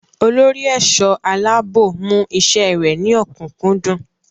Olórí ẹ̀ṣọ́ aláàbò mú iṣẹ́ rẹ̀ ní ọ̀kúnkúndùn.